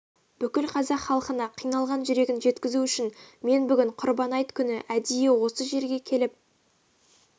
бүкіл қазақ халқына қиналған жүрегін жеткізу үшін мен бүгін құрбан айт күні әдейі осы жерге келіп